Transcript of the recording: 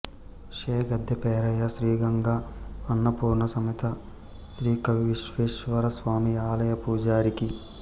శే గద్దే పేరయ్య శ్రీగంగా అన్నపూర్ణ సమేత శ్రీకాశీవిశ్వేశ్వర స్వామి ఆలయ పూజారి కీ